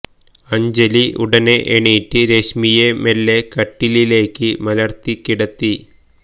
അഞ്ജലി ഉടനെ എണീറ്റ് രശ്മിയെ മെല്ലെ കട്ടിലിലേക്ക് മലർത്തി കിടത്തി